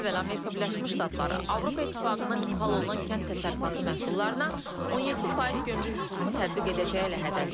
Daha əvvəl Amerika Birləşmiş Ştatları Avropa İttifaqından ixrac olunan kənd təsərrüfatı məhsullarına 17% gömrük rüsumu tətbiq edəcəyi ilə hədələyib.